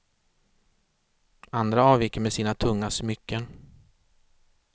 Andra avviker med sina tunga smycken.